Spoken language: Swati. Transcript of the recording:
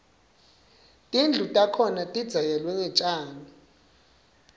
tindlu takhona tidzekelwe ngetjani